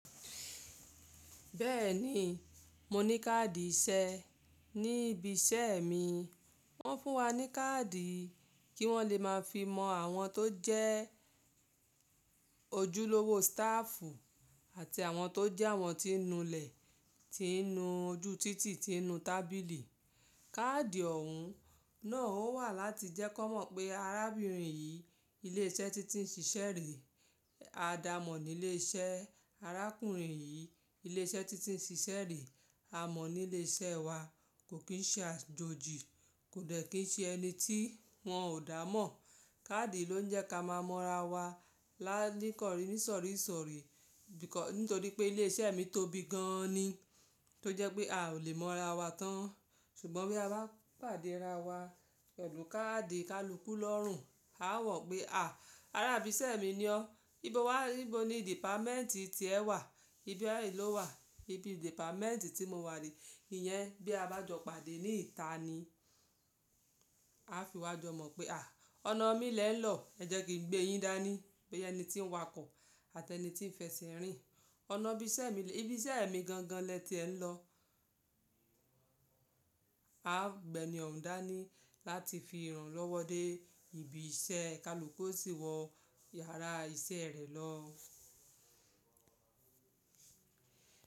Bẹ́ẹ̀ni, mo ní káàdì iṣẹ́. Ní ibi iṣẹ́ mi, wọ́n fún wa ní káàdì kí wọ́n lè máa fi mọ àwọn tó jẹ́ ojúlówó stáàfù àti àwọn tó jẹ́ àwọn tí ń nu ilẹ̀, tí ń nu ojú títì, tí ń nu tábìlì. Káàdì ọ̀hún náà ó wà láti jẹ́ kán mọ̀ pé arábìnrin yìí ilé iṣẹ́ títí ń ṣiṣẹ́ rèé a dàá mọ̀ ní ilé iṣẹ́. Arákùnrin yìí ilé iṣẹ́ títí ń ṣiṣẹ́ rèé, a mọ̀ ní ilé iṣẹ́ wa, kò kín ṣe àjòjì, kò dẹ̀ kín ṣe ẹni tí wọ́n ò dàá mọ̀. Káàdì ló ń jẹ́ ká máa mọ ara wa láníkọ̀rí nísọ̀rí ìṣọ̀rí, nítorí pé ilé iṣẹ́ mi tóbi gan an ni tó jẹ́ pé a ò lè mọ̀ ara wa tán. Ṣùgbọ́n bí a bá pàdé ara wa pẹ̀lú káàdì kaluku lọ́rùn, a á mọ̀ pé à, ará ibi iṣẹ́ mi ni o. Íbo wà? Íbo ni dìpámẹ́ǹtì tí ẹ wà? Ibí iṣẹ́ yìí ló wà. Ibi dìpámẹ́ǹtì tí mo wà ni. Iyẹn bí a bá jọ pàdé ní ìta ni. A fiwá jọ mọ̀ pé à, ọ̀nà mi lẹ́ ẹ̀ lọ, ẹ jẹ́ kí n gbé yín dání. Ìyẹn ẹni tí ń wakọ̀ àti ẹni tí ń fẹṣin rìn. Ọ̀nà ibi iṣẹ́ mi gangan lẹ́ tí ẹ ń lọ. A á gba ẹni òun dání láti fi ìrànlọ́wọ́ dé ìbí iṣẹ́, kaluku yóò sì wọ yàrá iṣẹ́ rẹ̀ lọ.